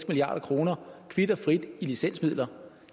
milliard kroner kvit og frit i licensmidler